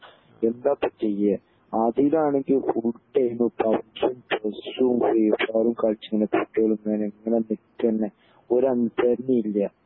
എന്താപ്പൊ ചെയ്യെ അതിലാണെങ്കി ഫുൾ ടൈം പബിജിം പെസ്സും ഫ്രീഫയറും കളിച് കുട്ടികൾ ഇങ്ങനെ നിക്കന്നെ ഒരു അനുസരണയും ഇല്ല